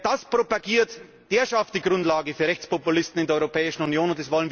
Wer das propagiert, der schafft die Grundlage für Rechtspopulisten in der Europäischen Union.